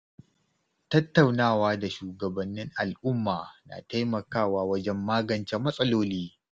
Tattaunawa da shugabannin al’umma na taimakawa wajen magance matsaloli.